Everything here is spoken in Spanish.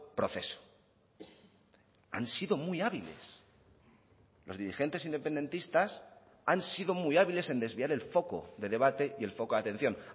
proceso han sido muy hábiles los dirigentes independentistas han sido muy hábiles en desviar el foco de debate y el foco de atención